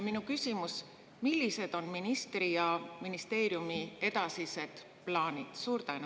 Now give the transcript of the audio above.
Minu küsimus: millised on ministri ja ministeeriumi edasised plaanid?